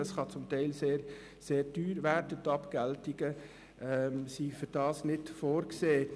Dies kann teilweise sehr teuer werden, und Abgeltungen sind nicht dafür vorgesehen.